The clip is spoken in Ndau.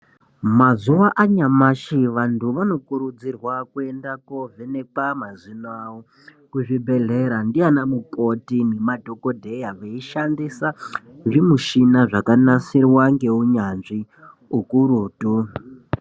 Mazuva anyamashe , vantu vanokurudzirwa kuenda kovhenekwa mazino awo, kuzvibhedhlera ndi anamukoti namadhokodheya veyishandisa ngemishina zvakanasirwa ngewunyanzvi kukurutu.